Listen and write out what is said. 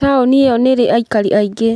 Taũni ĩyo nĩ ĩrĩ aikari aingĩ.